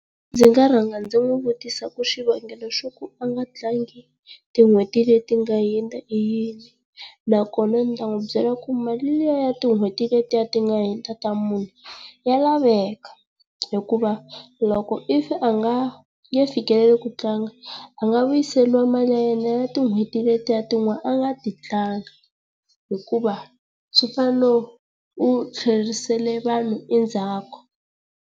Ndzi nga rhanga ndzi n'wi vutisa ku xivangelo xa ku a nga tlaangi tin'hweti leti nga hundza i yini, nakona ndzi ta n'wi byela ku mali liya ya tin'hweti letiya ti nga hundza ta mune ya laveka. Hikuva loko if a nga nge fikeleli ku tlanga, a nga vuyiseriwa mali ya yenaa ya tin'hweti letiya tin'wana a nga ti tlanga hikuva swi fana no u tlherisele vanhu endzhaku.